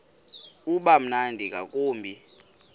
uba mnandi ngakumbi